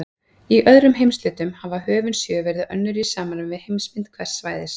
Í öðrum heimshlutum hafa höfin sjö verið önnur í samræmi við heimsmynd hvers svæðis.